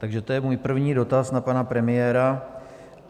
Takže to je můj první dotaz na pana premiéra.